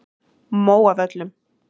Móavöllum